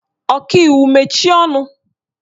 Ọkaiwu mechie ọnụ!